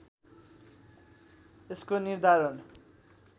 यसको निर्धारण